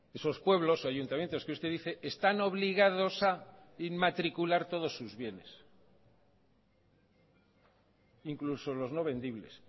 esos pueblos o ayuntamientos que usted dice están obligados a inmatricular todos sus bienes incluso los no vendibles